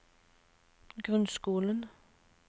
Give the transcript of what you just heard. grunnskolen